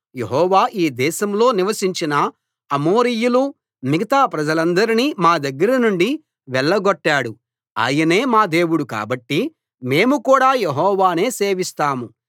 యెహోవా యీ దేశంలో నివసించిన అమోరీయులూ మిగతా ప్రజలందరినీ మా దగ్గరనుండి వెళ్ళగొట్టాడు ఆయనే మా దేవుడు కాబట్టి మేము కూడా యెహోవానే సేవిస్తాం